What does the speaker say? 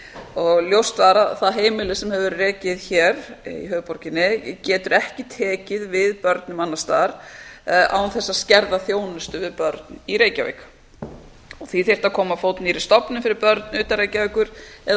og ljóst var að það heimili sem hefur verið rekið hér í höfuðborginni getur ekki tekið við börnum annars staðar frá án þess að skerða þjónustu við börn í reykjavík því þyrfti að koma á fót nýrri stofnun fyrir börn utan reykjavíkur eða